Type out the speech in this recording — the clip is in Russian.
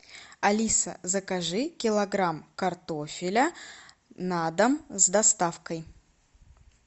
алиса закажи килограмм картофеля на дом с доставкой